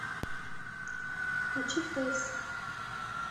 включи фэйс